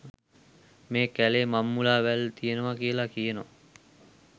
මෙ කෑලේ මංමුලා වැල් තියෙනව කියල කියනව.